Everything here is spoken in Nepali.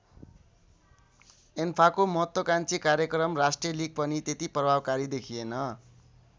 एन्फाको महत्त्वाकाङ्क्षी कार्यक्रम राष्ट्रिय लिग पनि त्यति प्रभावकारी देखिएन।